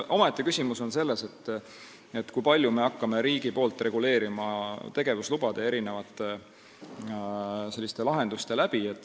Omaette küsimus on see, kui palju hakkab riik seda reguleerima tegevuslubade ja mitmete lahenduste abil.